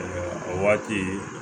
o waati